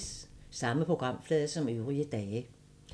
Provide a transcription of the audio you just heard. Samme programflade som øvrige dage